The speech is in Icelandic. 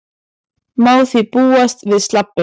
Má því búast við slabbi